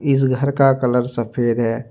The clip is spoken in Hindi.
इस घर का कलर सफेद है।